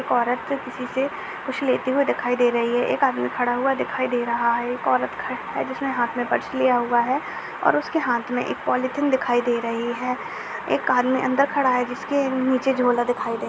एक औरत किसी से कुछ लेते हुए दिखाई दे रही है एक आदमी खड़ा हुआ दिखाई दे रहा है एक औरत खड़ा है जिसने हाथ में पर्स लिया हुआ है और उसके हाथ में एक पॉलीथिन दिखाई दे रही हैं एक आदमी अंदर खड़ा है जिसके नीचे झोला दिखाई दे --